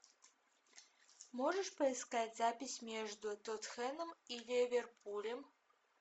можешь поискать запись между тоттенхэмом и ливерпулем